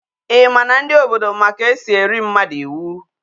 I ma na ndi obodo ma ka esi eri mmadu iwu?